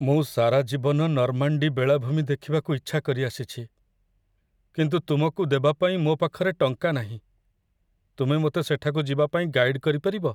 ମୁଁ ସାରା ଜୀବନ ନର୍ମାଣ୍ଡି ବେଳାଭୂମି ଦେଖିବାକୁ ଇଚ୍ଛା କରିଆସିଛି, କିନ୍ତୁ ତୁମକୁ ଦେବା ପାଇଁ ମୋ ପାଖରେ ଟଙ୍କା ନାହିଁ, ତୁମେ ମୋତେ ସେଠାକୁ ଯିବା ପାଇଁ ଗାଇଡ କରିପାରିବ?